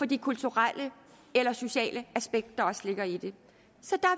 de kulturelle eller sociale aspekter der også ligger i det er